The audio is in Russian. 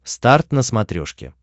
старт на смотрешке